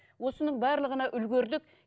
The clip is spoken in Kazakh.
осының барлығына үлгердік